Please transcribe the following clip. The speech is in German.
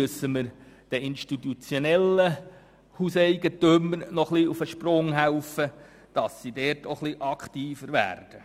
Aber den institutionellen Hauseigentümern müssen wir möglicherweise auf die Sprünge helfen, damit sie dort etwas aktiver werden,